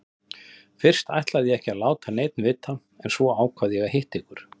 Fyrst ætlaði ég ekki að láta neinn vita en svo ákvað ég að hitta ykkur.